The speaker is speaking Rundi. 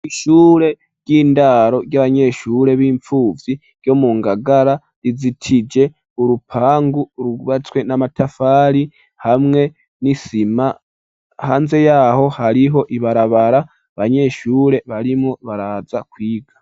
Ishure ry'indaro ry'abanyeshure b'imfuvyi ryo mu Ngagara rizitije urupangu rwubatswe n'amatafari hamwe n'isima, hanze yaho hariho ibarabara, abanyeshure barimwo baraza kwiga.